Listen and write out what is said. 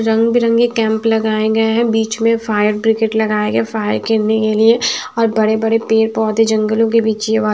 रंग-बिरंगे कैंप लगाए गए हैं बीच में फायर ब्रिकेट लगाए गए फायर केरने के लिए और बड़े-बड़े पेड़ पौधे जंगलों के बीच --